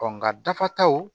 nka dafa taw